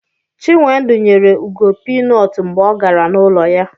Chinwendu nyere Ugo pinut mgbe ọ gara n'ụlọ ya